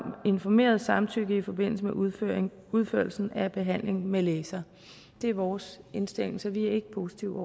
informeret samtykke i forbindelse med udførelsen udførelsen af behandling med laser det er vores indstilling så vi er ikke positive